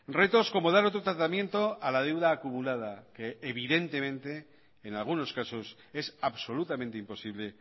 retos como dar otro tratamiento a la deuda acumulada que evidentemente en algunos casos es absolutamente imposible